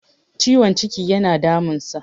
ciwon ciki yana damunsa